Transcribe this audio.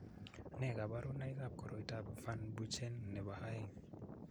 Nee kabarunoikab koroitoab Van Buchen nebo aeng'?